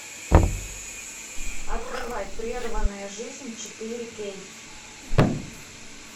открывай прерванная жизнь четыре кей